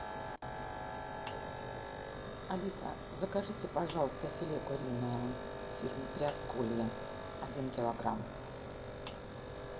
алиса закажите пожалуйста филе куриное фирмы приосколье один килограмм